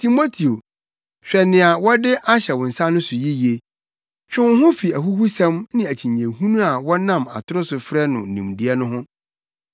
Timoteo, hwɛ nea wɔde ahyɛ wo nsa no so yiye. Twe wo ho fi ahuhusɛm ne akyinnyehunu a wɔnam atoro so frɛ no “Nimdeɛ” no ho.